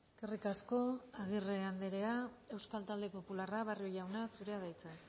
eskerrik asko agirre andrea euskal talde popularra barrio jauna zurea da hitza